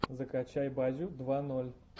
закачай базю два ноль